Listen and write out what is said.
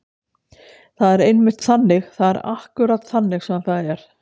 Það er einmitt þannig. það er akkúrat þannig sem það er.